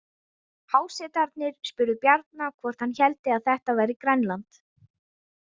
Hásetarnir spurðu Bjarna hvort hann héldi að þetta væri Grænland.